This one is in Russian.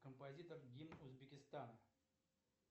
композитор гимн узбекистана